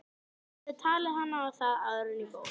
Ég hefði talið hana á það áður en ég fór.